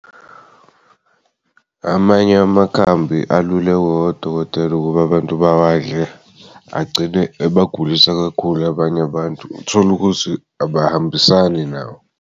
Amany'amakhambi alulekwa wodokotela ukuba abantu bawadle agcine ebagulisa kakhulu abanye abantu, utholukuthi abahambisani nawo.